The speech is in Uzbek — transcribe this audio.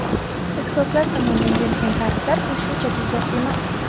Ustozlar tomonidan berilgan ta’riflar bu shunchaki gap emasdi.